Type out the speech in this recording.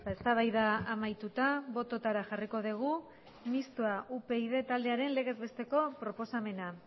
eztabaida amaituta bototara jarriko dugu mistoa upyd taldearen legezbesteko proposamena